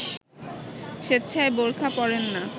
স্বেচ্ছায় বোরখা পরেন না